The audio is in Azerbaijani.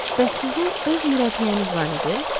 Bəs sizin öz mürəbbiyəniz var idi?